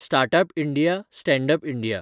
startup India, standup India